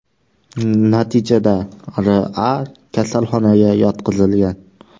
Natijada R.A. kasalxonaga yotqizilgan.